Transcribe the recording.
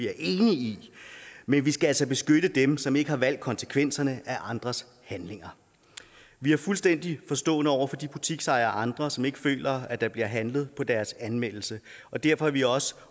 er enig i men vi skal altså beskytte dem som ikke har valgt konsekvenserne af andres handlinger vi er fuldstændig forstående over for de butiksejere og andre som ikke føler at der bliver handlet på deres anmeldelser og derfor er vi også